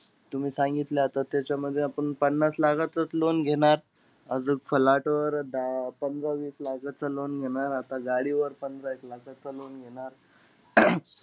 तुम्ही सांगितलं आता त्याच्यामध्ये आपण पन्नास लाखाचचं loan घेणार. आजूक flat वर दहा पंधरा-वीस लाखाचं loan घेणार. आता गाडीवर पंधरा-एक लाखाचं loan घेणार.